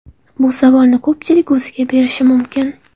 Bu savolni ko‘pchilik o‘ziga berishi mumkin.